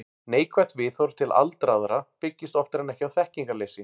Neikvætt viðhorf til aldraðra byggist oftar en ekki á þekkingarleysi.